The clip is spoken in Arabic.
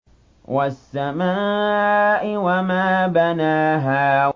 وَالسَّمَاءِ وَمَا بَنَاهَا